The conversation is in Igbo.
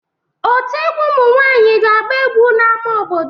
Ọtú egwu ụmụ nwanyị ga-agba egwu n'ámá obodo.